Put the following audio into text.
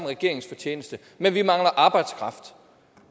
regeringens fortjeneste men vi mangler arbejdskraft